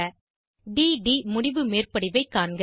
d ட் முடிவு மேற்படிவைக் காண்க